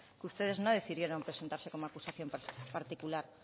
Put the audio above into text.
que ustedes no decidieron presentarse como acusación particular